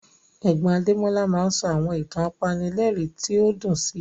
Ẹ̀gbọ́n Adémọ́lá máa ń sọ àwọn ìtàn apanilẹ́rìn tí ó dùn sí